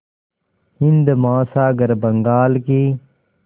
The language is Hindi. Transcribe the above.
हिंद महासागर बंगाल की